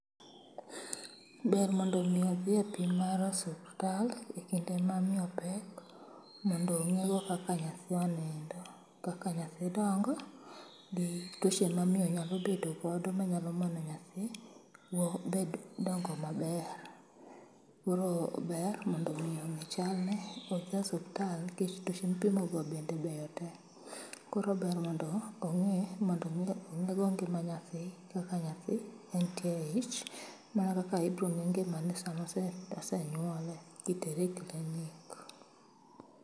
Ber mondo omi odhiye pim mar osuptal e kinde mamiyo pek mondo ong'iwa kaka nyathi onindo, kaka nyathi dongo gi tuoche mamiyo nyalo bedo godo, manyalo mono nyathi dongo maber. Koro ber mondo omi ong'e chalne kodhi e osuptal nikech tuoche mipimogo bende beyo te. Koro ber mondo ong'i mondo omi ong'ego ngima nyathi kaka nyathi entie e ich, mana kaka ibiro ng'e ngimane sama ose nyuole, itere i klinik.